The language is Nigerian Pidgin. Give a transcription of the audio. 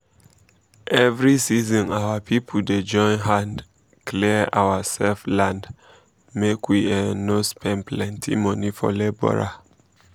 every season our people dey join hand um clear ourselves land make we um no spend plenty money for labourer